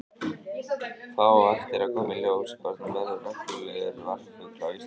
Það á eftir að koma í ljós hvort hún verður reglulegur varpfugl á Íslandi.